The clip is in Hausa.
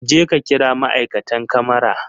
Jeka kira ma'aikatan kamara!